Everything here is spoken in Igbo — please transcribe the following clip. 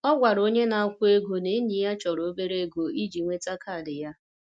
Ọ gwara onye na-akwụ ego na enyi ya chọrọ obere oge iji nweta kaadị ya.